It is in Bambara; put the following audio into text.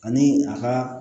Ani a ka